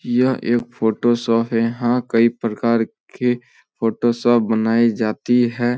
यह एक photo shop यहां कई प्रकार के फोटो सब बनाई जाती है।